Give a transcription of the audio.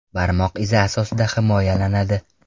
Barmoq izi asosida himoyalanadi.